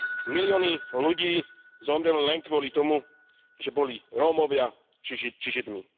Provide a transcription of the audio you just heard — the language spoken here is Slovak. Milióny ľudí zomreli len kvôli tomu, že boli Rómovia či Židia.